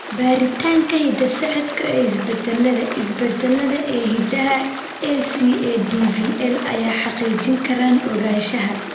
Baaritaanka hidda-socodka ee isbeddellada (isbeddellada) ee hiddaha ACADVL ayaa xaqiijin kara ogaanshaha.